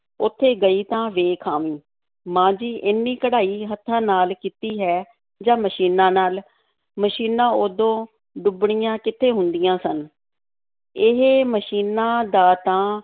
ਉੱਥੇ ਗਈ ਤਾਂ ਵੇਖ ਆਵੀਂ, ਮਾਂ ਜੀ ਏਨੀ ਕਢਾਈ ਹੱਥਾਂ ਨਾਲ ਕੀਤੀ ਹੈ ਜਾਂ ਮਸ਼ੀਨਾਂ ਨਾਲ? ਮਸ਼ੀਨਾਂ ਉਦੋਂ ਡੁੱਬਣੀਆਂ ਕਿੱਥੇ ਹੁੰਦੀਆਂ ਸਨ, ਇਹ ਮਸ਼ੀਨਾਂ ਦਾ ਤਾਂ